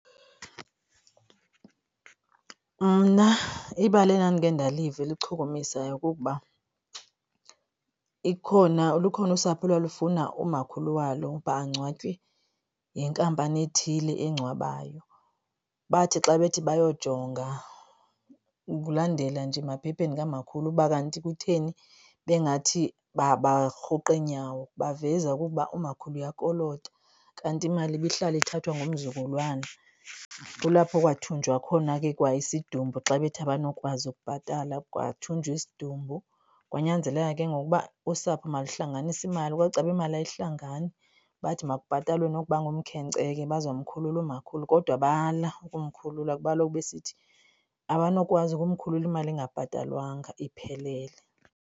Mna ibali endandikhe ndaliva eluchukumisayo kukuba lukhona usapho olwalufuna umakhulu walo uba angcwatywe yinkampani ethile engcwabayo. Bathi xa bethi bayojonga ukulandela nje emaphepheni kamakhulu uba kanti kutheni bengathi barhuqa iinyawo baveza okokuba umakhulu uyakolota kanti imali ibihlala ithathwa ngumzukulwana. Kulapho kwathunjwa khona ke kwa isidumbu xa bethi abanokwazi ukubhatala, kwathunjwa isidumbu. Kwanyanzeleka ke ngoku uba usapho maluhlanganise imali. Kwacaba imali ayihlangani. Bathi makubhatalwe nokuba ngumkhenkce ke baza kumkhuluwa umakhulu kodwa bala ukumkhulula kuba kaloku besithi abanokwazi ukumkhulula imali ingabhatalwanga iphelele.